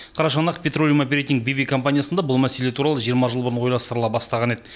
қарашығанақ петролеум оперейтинг б в компаниясында бұл мәселе туралы жиырма жыл бұрын ойластырыла бастаған еді